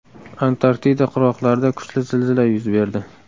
Antarktida qirg‘oqlarida kuchli zilzila yuz berdi.